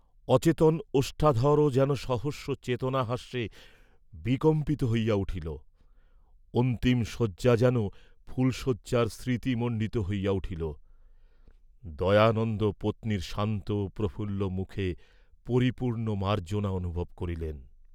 অচেতন ওষ্ঠাধরও যেন সহসা চেতনহাস্যে বিকম্পিত হইয়া উঠিল, অন্তিম শয্যা যেন ফুলশয্যার স্মৃতি মণ্ডিত হইয়া উঠিল, দয়ানন্দ পত্নীর শান্ত প্রফুল্ল মুখে পরিপূর্ণ মার্জ্জনা অনুভব করিলেন।